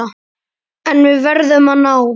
En við verðum að ná